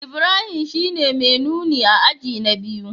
Ibrahim shine mai nuni a aji na biyu